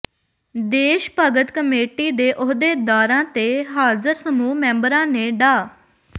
ਦੇਸ਼ ਭਗਤ ਕਮੇਟੀ ਦੇ ਅਹੁਦੇਦਾਰਾਂ ਤੇ ਹਾਜ਼ਰ ਸਮੂਹ ਮੈਂਬਰਾਂ ਨੇ ਡਾ